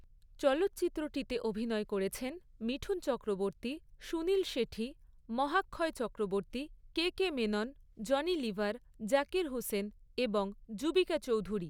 চলচ্চিত্রটিতে অভিনয় করেছেন মিঠুন চক্রবর্তী, সুনীল শেঠি, মহাক্ষয় চক্রবর্তী, কেকে মেনন, জনি লিভার, জাকির হুসেন এবং যুবিকা চৌধুরী।